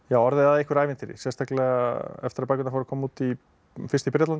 orðið að einhverju ævintýri sérstaklega eftir að bækurnar fóru að koma út í fyrst í Bretlandi